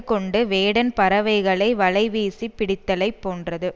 கொண்டு வேடன் பறவைகளை வலைவீசிப் பிடித்தலைப் போன்றது